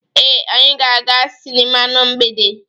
Ee, anyị ga-aga sịnịma na mgbede.